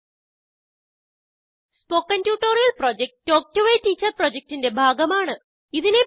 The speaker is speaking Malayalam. spoken tutorial project talk to a teacher പ്രൊജക്റ്റിന്റെ ഭാഗമാണ്